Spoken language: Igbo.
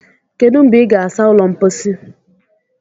Kedu mgbe ị ga-asa ụlọ mposi?